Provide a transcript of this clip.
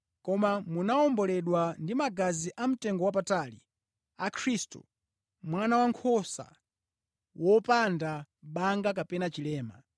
Koma munawomboledwa ndi magazi a mtengowapatali a Khristu, Mwana Wankhosa wopanda banga kapena chilema.